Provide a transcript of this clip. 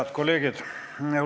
Head kolleegid!